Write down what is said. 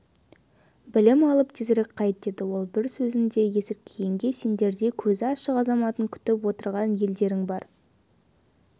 білім алып тезірек қайт деді ол бір сөзінде есіркегенге сендердей көзі ашық азаматын күтіп отырған елдерің бар